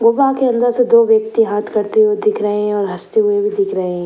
गुफा के अंदर से दो व्यक्ति हाथ करते हुए दिख रहे हैं और हँसते हुए भी दिख रहे हैं।